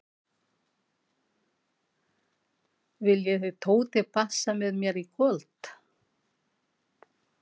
Viljið þið Tóti passa með mér í kvöld?